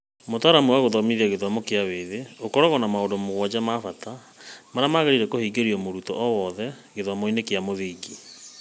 Mũtaratara wa Gũthomithia wa Gĩthomo kĩa Mwĩthĩ ũkoragwo na maũndũ mũgwanja ma bata marĩa magĩrĩire kũhingĩrio nĩ mũrutwo o wothe gĩthomoinĩ kĩa mũthingi.